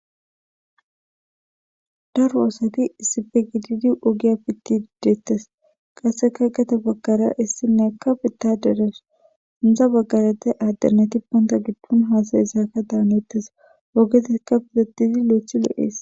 daro aosati isife gididi ogiya pitti diddeettes qasseka gata baggara issinne ka bitaderas inza baggarete addernati ponta giddun haasayi saaka daanettes ogetika pidatizi lo7ethi lo7ees